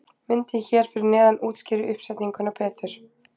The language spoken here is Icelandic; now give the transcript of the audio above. Myndin hér fyrir neðan útskýrir uppsetninguna betur.